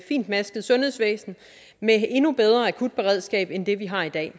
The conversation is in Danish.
fintmasket sundhedsvæsen med et endnu bedre akutberedskab end det vi har i dag